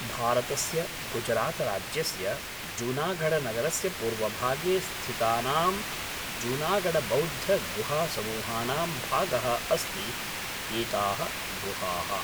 भारतस्य गुजरातराज्यस्य जूनागढनगरस्य पूर्वभागे स्थितानां जूनागढबौद्धगुहासमूहानां भागाः अस्ति एताः गुहाः।